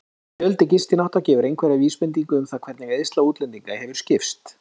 Fjöldi gistinátta gefur einhverja vísbendingu um það hvernig eyðsla útlendinga hefur skipst.